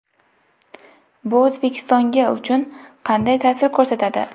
Bu O‘zbekistonga uchun qanday ta’sir ko‘rsatadi?